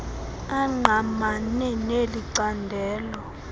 angqamene neli candelo